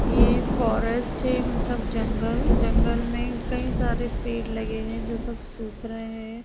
ये फारेस्ट है मतलब जंगल जंगल में कई सारे पेड़ लगे है जो सब सूख रहे हैं।